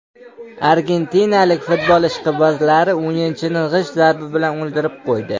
Argentinalik futbol ishqibozlari o‘yinchini g‘isht zarbi bilan o‘ldirib qo‘ydi.